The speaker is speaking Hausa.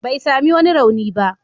Bai sami wani rauni ba.